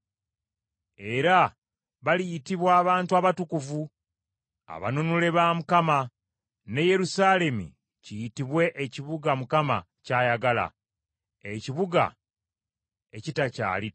Era baliyitibwa Abantu Abatukuvu, Abanunule ba Mukama , ne Yerusaalemi kiyitibwe, Ekibuga Mukama ky’ayagala, Ekibuga Ekitakyali ttayo.